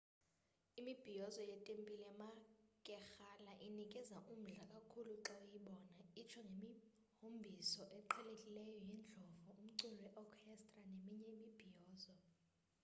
imibhiyozo yetempile yamakerala inikeza umdla kakhulu xa uyibona itsho ngemihombiso eqhelekileyo yeendlovu, umculo we orchestra neminye imibhiyozo